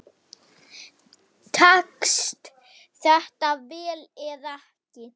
Tekst þetta vel eða ekki?